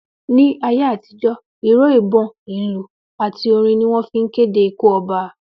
Ní ayé àtijó, ìró ìbon, ìlù àti Orin ni wón fi n kéde ikú oba